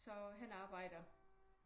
Så han arbejder